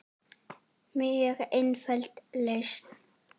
Mjög einföld lausn.